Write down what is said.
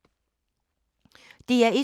DR1